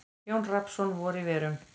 Jón Rafnsson: Vor í verum.